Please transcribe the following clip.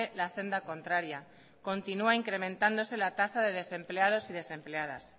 la senda contraria continúa incrementándose la tasa de desempleados y desempleadas